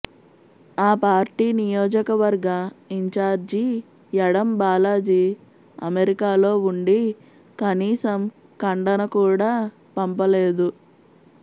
ఆ పార్టీ నియోజకవర్గ ఇన్ఛార్జి యడం బాలాజీ అమెరికాలో ఉండి కనీసం ఖండన కూడా పంపలేదు